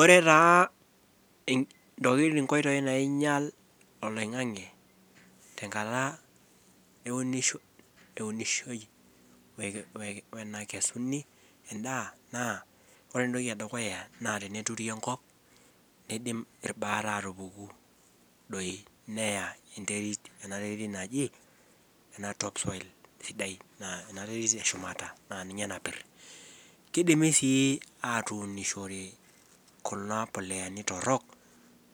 Ore taa inkoitoi naingial oloingang'e enkata naunishoi, okesu I edaa naa ore ene dukuya, naa teneturi enkop neidim ilbaat aatupuku doi. enteri ena Terit. naji Ina topsoil enterit eshumata, naa ninye napir. kidimi sii atuunishore, Kuna, puritans torok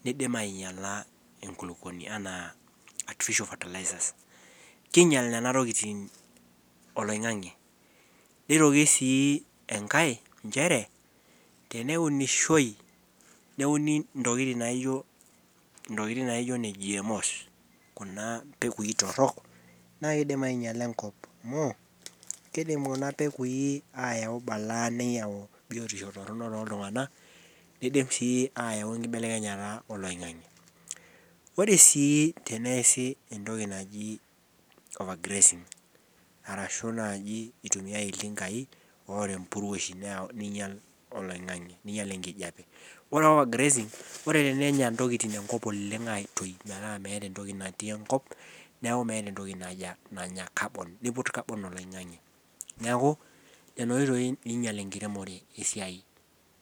neidim aingiala. enkilupuoni. anaa artificial fertilizerz king'ial Nena tokitin, oloingang'e. niroki sii enkae ,nchere teneunishoi, neuni ntokitin naijo ne GMO's Kuna oitoi torok naa kid. Ainyiala enkop amu kidim Kuna peeku aingiala neyau balaa, toltungana. nidim sii aayua enkibelekenyata oloingang'e. ore sii teensi entoki naji overgrazing nitumia iltinkai oota empuruo. ningial. oloingang'e. Neing'ial enkijiape. ore taa overgrazing ore tenengial intokitin enkop oleng, aitoki metaa meeta entoki enkop. neeku meeta entokij nanya enkop neiput carbon oloingang'e. neeku Nena oitoi naingial esiai.